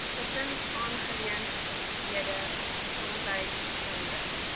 gesinsaangeleenthede gesondheid gesonde